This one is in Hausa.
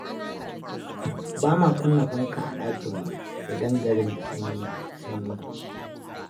Bama kunna fanka a dakin mu idan garin da sanyi-sanyi.